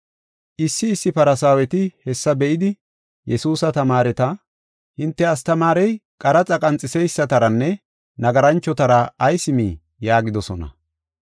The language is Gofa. Issi issi Farsaaweti hessa be7idi, Yesuusa tamaareta, “Hinte astamaarey qaraxa qanxiseysataranne nagaranchotara ayis mii?” yaagidosona.